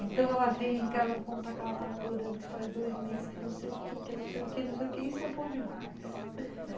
Então, ela vem em casa para contar que ela está namorando, que faz dois meses, que não sei o quê, que não sei o quê, não sei o quê, isso é bom demais, né?